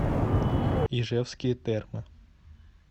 ижевские термы